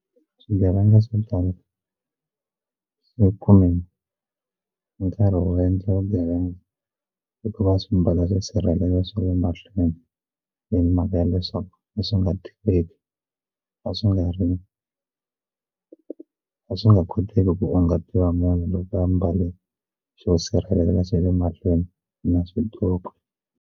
Swigevenga swo tala swi kume nkarhi wo endla vugevenga hikuva swi mbala swisirhelelo swa le mahlweni leyi mhaka ya leswaku leswi nga tiveki a swi nga ri ku a swi nga koteki ku unga tiva munhu loko a mbale xo sirhelela xa le mahlweni na swiqoko.